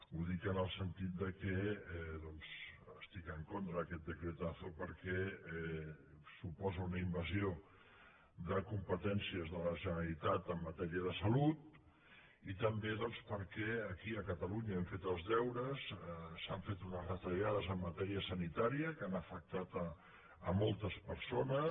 ho dic en el sentit que doncs estic en contra d’aquest decretazo perquè suposa una invasió de competències de la generalitat en matèria de salut i també perquè aquí a catalunya hem fet els deures s’han fet unes retallades en matèria sanitària que han afectat moltes persones